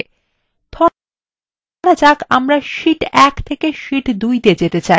ধরা যাক আমরা sheet 1 থেকে sheet 2 তে যেতে চাই